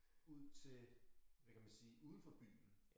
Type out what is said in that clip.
Ud til hvad kan man sige udenfor byen